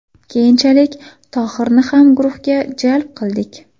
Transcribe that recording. Keyinchalik Tohirni ham guruhga jalb qildik.